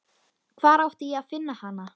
Hvar átti ég að finna hana?